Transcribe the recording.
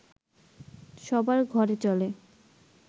সবার ঘরে চলে